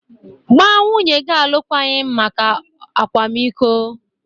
Gbaa nwunye gị alụkwaghịm maka akwamiko!